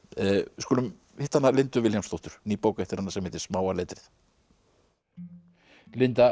við skulum hitta hana Lindu Vilhjálmsdóttur ný bók eftir hana sem heitir smáa letrið